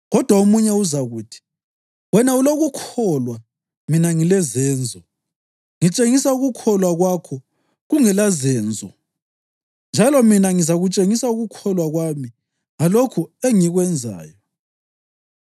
Kodwa omunye uzakuthi, “Wena ulokukholwa; mina ngilezenzo.” Ngitshengisa ukukholwa kwakho kungelazenzo, njalo mina ngizakutshengisa ukukholwa kwami ngalokho engikwenzayo.